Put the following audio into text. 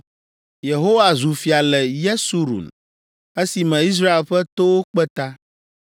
Yehowa zu fia le Yesurun esime Israel ƒe towo kpe ta.